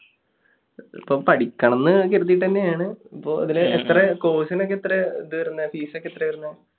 ഇപ്പോൾ പഠിക്കണമെന്ന് കരുതിയിട്ട് തന്നെയാണ്. അപ്പൊ അതിൽ എത്ര, course ന് ഒക്കെ എത്രയാ ഇതു വരുന്നത്സ്? fees ഒക്കെ എത്രയാണ് വരുന്നത്?